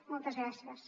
moltes gràcies